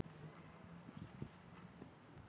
Gunnólfur, hvað er í matinn?